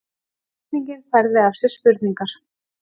Spurningin fæðir af sér spurningar